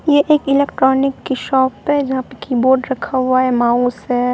यह एक इलेक्ट्रॉनिक की शॉप है यहां पे कीबोर्ड रखा हुआ है माउस है।